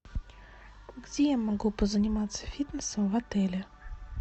где я могу позаниматься фитнесом в отеле